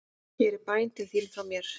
Hér er bæn til þín frá mér.